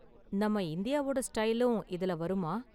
நம்ம இந்தியாவோட ஸ்டைலும் இதுல வருமா?